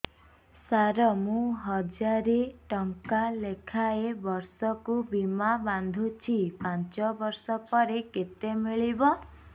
ସାର ମୁଁ ହଜାରେ ଟଂକା ଲେଖାଏଁ ବର୍ଷକୁ ବୀମା ବାଂଧୁଛି ପାଞ୍ଚ ବର୍ଷ ପରେ କେତେ ମିଳିବ